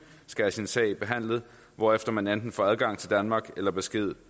skal have sin sag behandlet hvorefter man enten får adgang til danmark eller besked